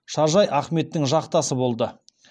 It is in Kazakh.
шажай ахметтің жақтасы болды